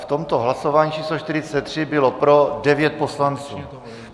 V tomto hlasování číslo 43 bylo pro 9. Poslanců.